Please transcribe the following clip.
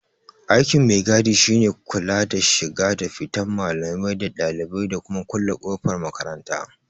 Aikin mai-gadi shine kula da shiga da fitan malamai da ɗalibai, da kuma kulle kofar makaranta.